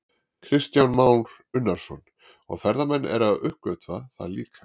Kristján Már Unnarsson: Og ferðamenn eru að uppgötva það líka?